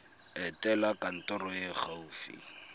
etela kantoro e e gaufi